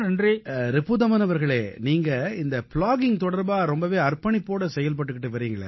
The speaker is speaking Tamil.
ரிபுதமன் அவர்களே நீங்க இந்த ப்ளாகிங் தொடர்பா ரொம்பவே அர்ப்பணிப்போட செயல்பட்டுக்கிட்டு வர்றீங்களே